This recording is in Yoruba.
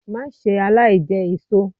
Má ṣe aláìjẹ èṣo!